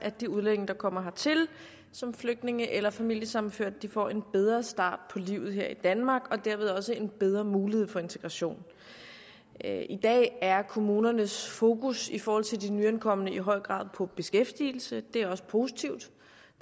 at de udlændinge der kommer hertil som flygtninge eller familiesammenførte får en bedre start på livet her i danmark og dermed også en bedre mulighed for integration i dag er kommunernes fokus i forhold til de nyankomne i høj grad på beskæftigelsen det er også positivt